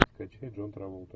скачай джон траволта